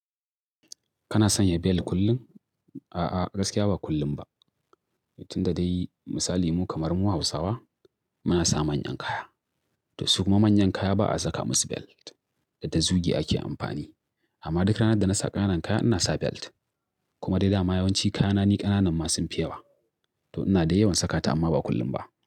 Kana sanya bel kullum? A'a, gaskiya ba kullum ba. Tun da dai misali mu kamar mu Hausawa muna sa manyan kaya, to su kuma manyan kaya ba a saka musu belt da ta zuge ake amfani. Amma duk ranar da na sa ƙananan kaya ina sa belt. Kuma dai dama yawanci kayana ni ƙananan ma sun fi yawa. To ina dai yawan saka ta amma ba kullum ba.